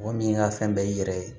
Mɔgɔ min ka fɛn bɛɛ i yɛrɛ ye